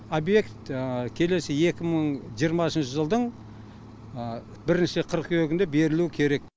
объект келесі екі мың жиырмасыншы жылдың бірінші қыркүйегінде берілуі керек